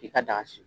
I ka daga si